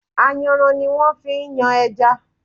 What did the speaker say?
Ayanran ni wón fi ń yan ẹja.